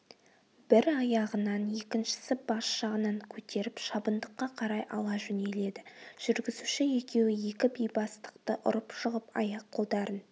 бір аяғынан екіншісі бас жағынан көтеріп шабындыққа қарай ала жөнеледі жүргізуші екеуі екі бейбастақты ұрып-жығып аяқ-қолдарын